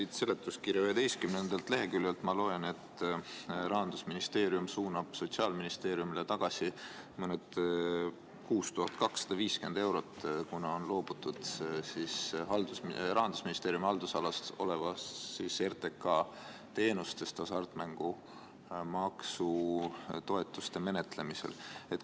Ma loen selle seletuskirja 11. leheküljelt, et Rahandusministeerium suunab Sotsiaalministeeriumile tagasi 6250 eurot, kuna on loobutud Rahandusministeeriumi haldusalas oleva RTK teenustest hasartmängumaksu toetuste menetlemisel.